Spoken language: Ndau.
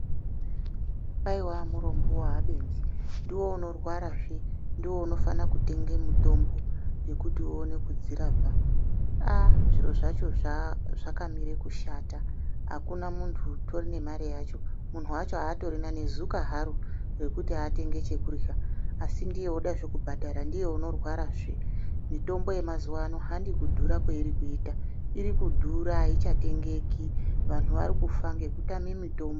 Aiwa murombo waabenzi ndiwe unorwara zve ndiwe unofana kutenge mutombo yekuti uone kudzirapa aaa zviro zvacho zva zvakamire kushata akuna muntu utori nemare yavho muntu wacho aatorina nezuka haro rekuti atenge chekurya asi ndiye oda zve kubhadhara ndiye unorwarazve mutombo yemazuwa ano handikudhurapi kweinoita iri kudhura aichatengeki antu ari kufa ngekutame mutombo.